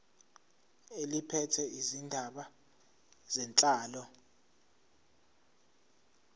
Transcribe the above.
eliphethe izindaba zenhlalo